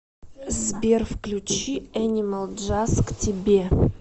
сбер включи энимал джаз к тебе